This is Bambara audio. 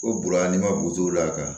O buruna ni ma gudɔrɔn la ka